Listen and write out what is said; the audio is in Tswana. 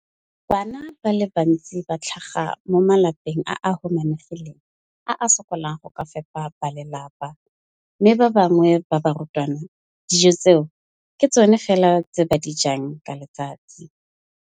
Bana ba le bantsi ba tlhaga mo malapeng a a humanegileng a a sokolang go ka fepa ba lelapa mme ba bangwe ba barutwana, dijo tseo ke tsona fela tse ba di jang ka letsatsi.